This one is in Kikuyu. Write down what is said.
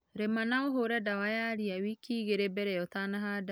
Rĩma na ũhure dawa ya riawiki igĩrĩ mbere ya ũtanahanda.